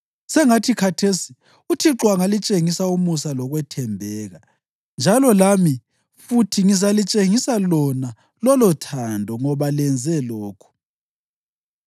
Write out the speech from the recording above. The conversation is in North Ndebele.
Sengathi khathesi uThixo angalitshengisa umusa lokwethembeka, njalo lami futhi ngizalitshengisa lona lolothando ngoba lenze lokhu.